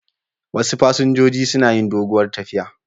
Wasu fasinjojin suna yi doguwar tafiya.